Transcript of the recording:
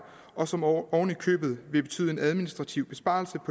og som oven i købet vil betyde en administrativ besparelse